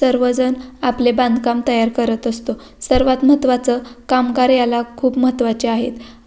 सर्वजण आपले बांधकाम तयार करत असतो सर्वात महत्वाचं कामगार याला खूप महत्वाचे आहेत.